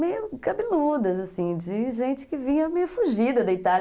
Meio cabeludas, assim, de gente que vinha meio fugida, deitada.